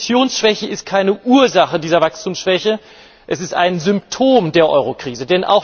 Die Investitionsschwäche ist keine Ursache dieser Wachstumsschwäche, sie ist ein Symptom der Eurokrise.